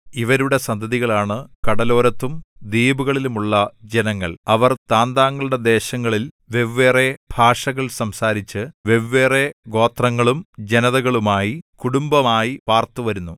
ഇവരുടെ സന്തതികളാണ് കടലോരത്തും ദ്വീപുകളിലുമുള്ള ജനങ്ങൾ അവർ താന്താങ്ങളുടെ ദേശങ്ങളിൽ വെവ്വേറെ ഭാഷകൾ സംസാരിച്ച് വെവ്വേറെഗോത്രങ്ങളും ജനതകളുമായി കുടുംബമായി പാർത്തു വരുന്നു